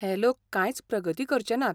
हे लोक कांयच प्रगती करचे नात.